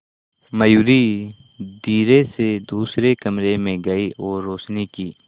मयूरी धीरे से दूसरे कमरे में गई और रोशनी की